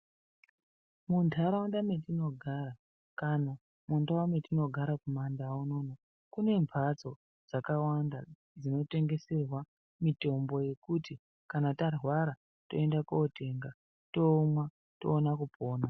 Muntharaunda metinogara kana mundau dzatinogara kumandau unono kune mbatso dzakawanda dzinotengeserwa mitombo yekuti kana tarwara toende kotenga tomwa toona kupona.